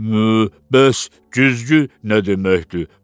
Məə, bəs güzgü nə deməkdir?